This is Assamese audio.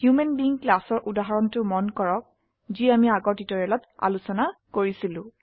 হোমান বেইং ক্লাছ ৰ উদাহৰণটো মন কৰক যি অামি আগৰ টিউটৰিয়েলত আলোচনা কৰিছিলো